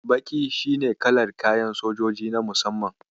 Baƙi shi ne kalar kayan sojoji na musamman.